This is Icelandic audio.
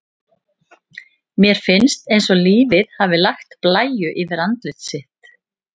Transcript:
Mér finnst eins og lífið hafi lagt blæju yfir andlit sitt.